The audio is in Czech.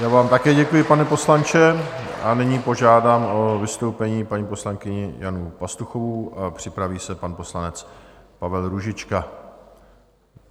Já vám také děkuji, pane poslanče, a nyní požádám o vystoupení paní poslankyni Janu Pastuchovou, připraví se pan poslanec Pavel Růžička.